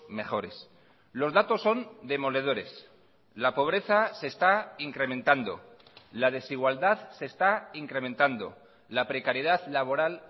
mejores los datos son demoledores la pobreza se está incrementando la desigualdad se está incrementando la precariedad laboral